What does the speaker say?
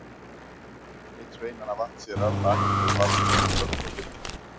Einn sveinanna vatt sér af baki og barði þung högg á dyrnar.